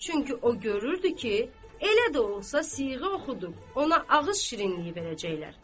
Çünki o görürdü ki, elə də olsa siğə oxudu, ona ağız şirinliyi verəcəklər.